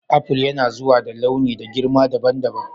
Aful yanazuwa da launi da girma dabam dabam.